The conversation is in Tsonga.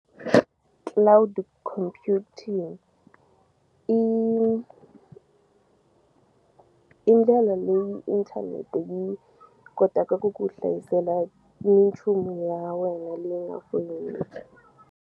Cloud computing i i ndlela leyi inthanete yi kotaka ku ku hlayisela minchumu ya wena leyi nga .